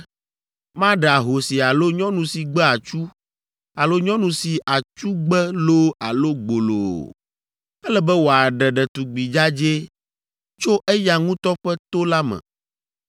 Maɖe ahosi alo nyɔnu si gbe atsu alo nyɔnu si atsu gbe loo alo gbolo o. Ele be wòaɖe ɖetugbi dzadzɛ tso eya ŋutɔ ƒe to la me,